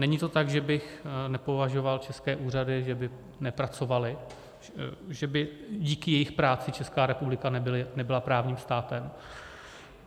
Není to tak, že bych nepovažoval české úřady, že by nepracovaly, že by díky jejich práci Česká republika nebyla právním státem.